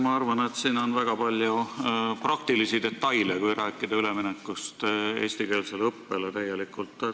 Ma arvan, et siin on väga palju praktilisi detaile, kui rääkida üleminekust täielikult eestikeelsele õppele.